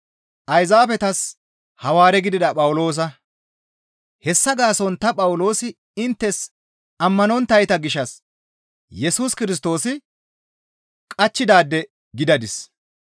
Hessa gaason ta Phawuloosi inttes ammanonttayta gishshas Yesus Kirstoosi qachchidaade gidadis.